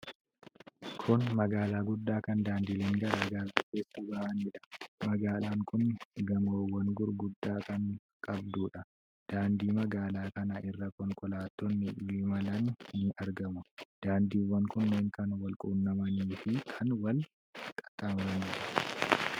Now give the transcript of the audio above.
Kun magaala guddaa kan daandileen garaa garaa keessa bahanidha. Magaalaan kun gamoowwan gurguddaa kan qabdudha. Daandii magaalaa kana irra konkolaattonni imalan ni argamu. Daandiiwwan kunneen kan wal quunnamanii fi kan wal qaxxaamuraniidha.